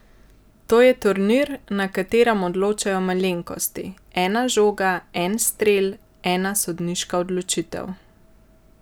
To je turnir, na katerem odločajo malenkosti, ena žoga, en strel, ena sodniška odločitev ...